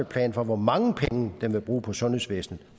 plan for hvor mange penge den vil bruge på sundhedsvæsnet